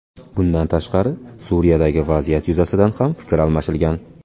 Bundan tashqari, Suriyadagi vaziyat yuzasidan ham fikr almashilgan.